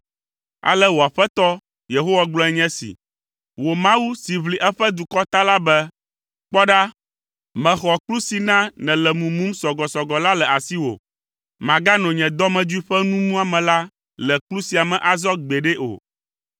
Ale wò Aƒetɔ, Yehowa gblɔe nye esi, wò Mawu si ʋli eƒe dukɔ ta la be, “Kpɔ ɖa, mexɔ kplu si na nèle mumum sɔgɔsɔgɔ la le asiwò. Màgano nye dɔmedzoe ƒe nu muame la le kplu sia me azɔ gbeɖe o.